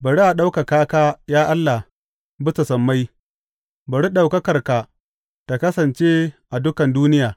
Bari a ɗaukaka ka, ya Allah, bisa sammai; bari ɗaukakarka ta kasance a dukan duniya.